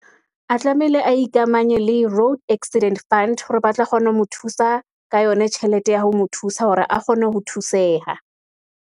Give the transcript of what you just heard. A tlamehile a ikamanye le road accident fund, hore ba tla kgone ho mo thusa, ka yona tjhelete ya ho mo thusa, hore a kgone ho thuseha.